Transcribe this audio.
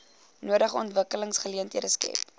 nodige ontwikkelingsgeleenthede skep